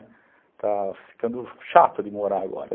Está ficando chato de morar agora.